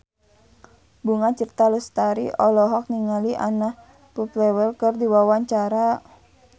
Bunga Citra Lestari olohok ningali Anna Popplewell keur diwawancara